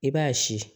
I b'a si